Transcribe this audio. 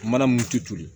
Mana mun tu tulu